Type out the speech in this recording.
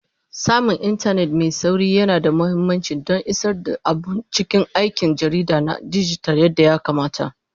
Samun intanet mai sauri yana da mahimmanci don isar da abun cikin aikin jarida na dijital yadda ya kamata.